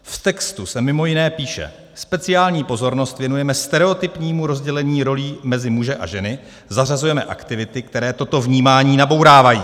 V textu se mimo jiné píše: Speciální pozornost věnujeme stereotypnímu rozdělení rolí mezi muže a ženy, zařazujeme aktivity, které toto vnímání nabourávají.